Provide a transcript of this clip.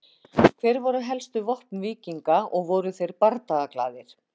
Hver voru helstu vopn víkinga og voru þeir bardagaglaðir?